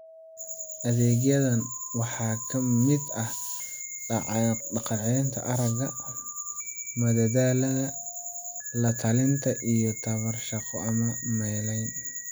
Adeegyadan waxaa ka mid ah dhaqancelinta aragga, madadaalada, la-talinta, iyo tababar shaqo ama meelayn.